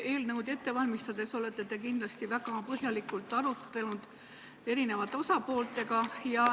Eelnõu ette valmistades olete selle üle eri osapooltega kindlasti väga põhjalikult arutlenud.